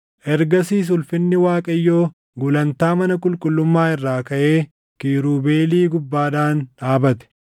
Ergasiis ulfinni Waaqayyoo gulantaa mana qulqullummaa irraa kaʼee kiirubeelii gubbaadhaan dhaabate.